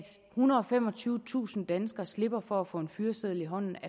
ethundrede og femogtyvetusind danskere slipper for at få en fyreseddel i hånden